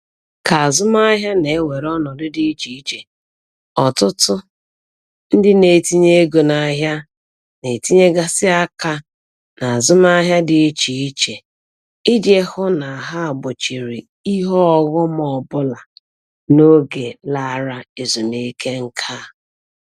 Ka azụmahịa na-ewere ọnọdụ dị iche iche, ọtụtụ ndị na-etinye ego n'ahịa na-etinyegasị aka n'azụmahịa dị ịche iche iji hụ na ha gbochiri ihe ọghọm ọbụla n'oge lara ezumike nka